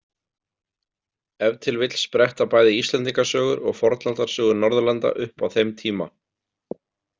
Ef til vill spretta bæði Íslendingasögur og fornaldarsögur Norðurlanda upp á þeim tíma.